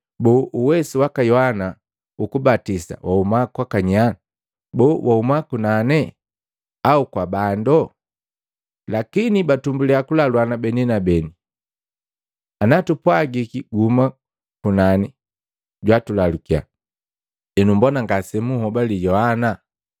Boo, uwesu waka Yohana ukubatisa wahuma kwaka nya? Boo, wahuma kunani au kwa bando?” Lakini batumbuliya kulaluana beni kwa beni, “Ana tupwagiki, ‘Gahuma kunani,’ jwatulalukia, ‘Henu mbona ngase munhobale Yohana?’